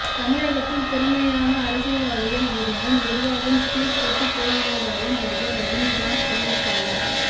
தமிழகத்தில் திறமையான அரசியல்வாதிகள் இருந்தும் நிர்வாகம் சீர் கெட்டுப் போயுள்ளதாக நடிகர் ரஜினிகாந்த் தெரிவித்துள்ளார்